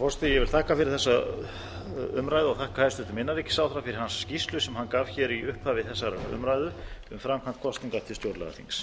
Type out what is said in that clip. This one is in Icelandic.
forseti ég vil þakka fyrir þessa umræðu og þakka hæstvirtum innanríkisráðherra fyrir hans skýrslu sem hann gaf hér í upphafi þessarar umræðu um framkvæmd kosninga til stjórnlagaþings